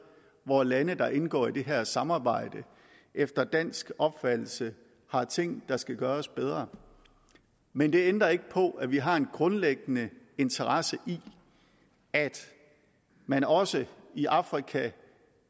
hvor lande der indgår i det her samarbejde efter dansk opfattelse har ting der skal gøres bedre men det ændrer ikke på at vi har en grundlæggende interesse i at man også i afrika